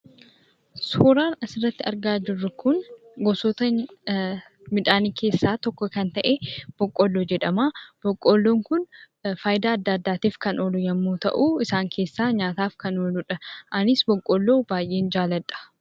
Suuraan asitti argaa jirru kun gosoota midhaanii keessaa tokko kan ta'e boqqoolloo jedhama. Boqqoolloon kun faayidaa adda addaatif kan oolu yemmu ta'u, isaan keessaa nyaataaf kan ooludha. Anis boqqoolloo baay'een jaalladha.